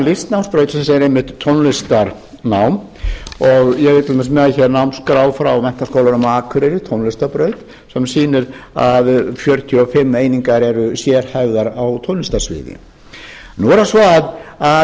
listnámsbrautar er einmitt tónlistarnám ég er til dæmis með hér námsskrá frá menntaskólanum á akureyri tónlistarbraut sem sýnir að fjörutíu og fimm einingar eru sérhæfðar á tónlistarsviði nú er það